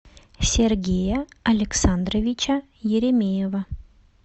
сергея александровича еремеева